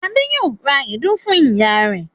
Adé yóò ra èédú fún ìyá rẹ̀.